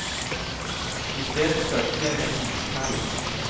I stedet følte jeg meg iskald.